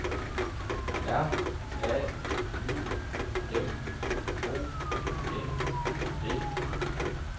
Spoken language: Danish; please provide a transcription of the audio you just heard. R A Y M O N D